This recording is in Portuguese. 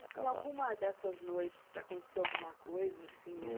E alguma dessas noites aconteceu alguma coisa assim